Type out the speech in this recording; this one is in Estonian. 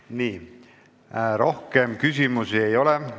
Nii, rohkem küsimusi ei ole.